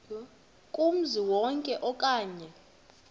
kumzi wonke okanye